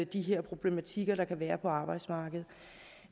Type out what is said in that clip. de her problematikker der kan være på arbejdsmarkedet